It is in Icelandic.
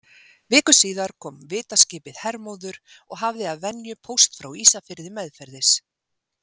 Viku síðar kom vitaskipið Hermóður og hafði að venju póst frá Ísafirði meðferðis.